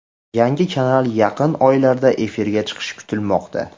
Yangi kanal yaqin oylarda efirga chiqishi kutilmoqda.